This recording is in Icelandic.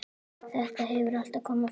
Þetta hefur allt komið fram.